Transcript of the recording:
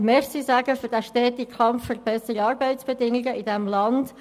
Danke sagen für den stetigen Kampf für bessere Arbeitsbedingungen in diesem Land.